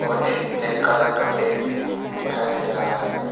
और एक black colour का बैग भी दिखाई दे रहा है।